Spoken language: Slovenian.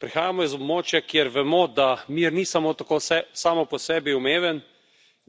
Prihajamo iz območja, kjer vemo, da mir ni samo tako sam po sebi umeven,